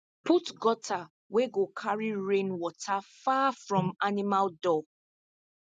put gutter wey go carry rain water far from animal door